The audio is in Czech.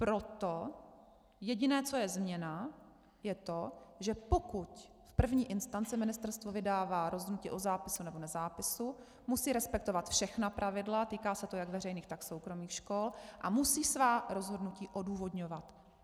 Proto jediné, co je změna, je to, že pokud v první instanci ministerstvo vydává rozhodnutí o zápisu nebo nezápisu, musí respektovat všechna pravidla, týká se to jak veřejných, tak soukromých škol, a musí svá rozhodnutí odůvodňovat.